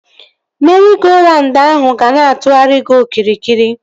Meri-go-raund ahụ ga na-atụgharị gị okirikiri